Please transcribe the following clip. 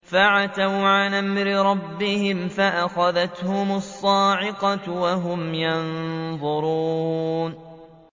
فَعَتَوْا عَنْ أَمْرِ رَبِّهِمْ فَأَخَذَتْهُمُ الصَّاعِقَةُ وَهُمْ يَنظُرُونَ